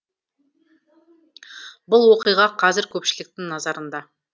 бұл оқиға қазір көпшіліктің назарында